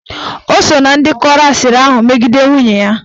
Ọ so ná ndị kọrọ asịrị ahụ megide nwunye ya.